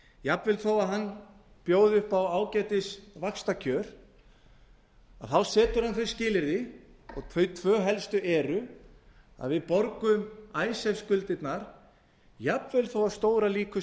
jafnvel þó að alþjóðagjaldeyrissjóðurinn bjóði upp á ágætisvaxtakjör þá setur hann þau skilyrði og þau tvö helstu eru að við borgum icesave skuldirnar jafnvel þó að stórar líkur